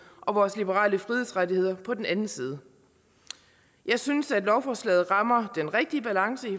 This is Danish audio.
og vores liberale frihedsrettigheder på den anden side jeg synes at lovforslaget rammer den rigtige balance